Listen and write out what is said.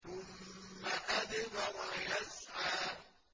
ثُمَّ أَدْبَرَ يَسْعَىٰ